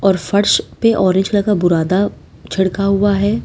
और फर्श पे ऑरेंज कलर का बुरादा छिड़का हुआ है।